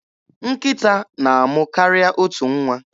Nkịta na-amụ karịa otu nwa.